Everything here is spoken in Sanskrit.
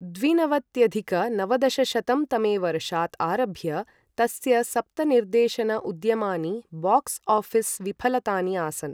द्विनवत्यधिक नवदशशतं तमे वर्षात् आरभ्य तस्य सप्त निर्देशन उद्यमानि बाक्स ऑफिस विफलतानि आसन् ।